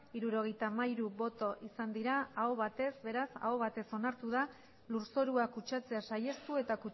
hirurogeita hamairu bai aho batez onartu da lurzorua kutsatzea saihestu eta